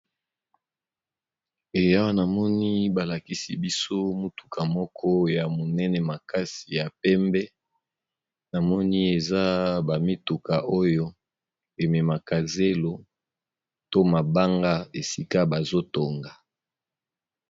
Awa namoni balakisi mutuka ya munene makisi, mutuka eza ba mituka oyo ememaka zélo bisika oyo bazotonga